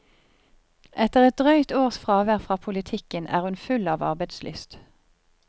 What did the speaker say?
Etter et drøyt års fravær fra politikken er hun full av arbeidslyst.